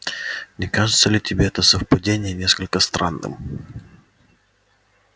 не кажется ли тебе это совпадение несколько странным